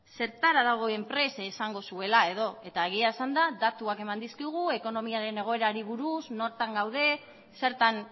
zertara dagoen prest esango zuela edo eta egia esanda datuak eman dizkigu ekonomiaren egoerari buruz nor gauden zertan